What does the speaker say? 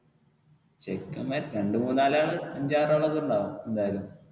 ചെക്കെന്മാര് രണ്ടുമൂന്നാലാള് അഞ്ചാറ് ആളൊക്കെ ഉണ്ടാവും എന്തായാലും.